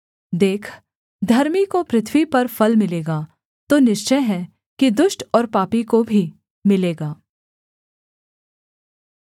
देख धर्मी को पृथ्वी पर फल मिलेगा तो निश्चय है कि दुष्ट और पापी को भी मिलेगा